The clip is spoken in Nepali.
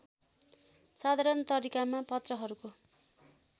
साधारण तरिकामा पत्रहरूको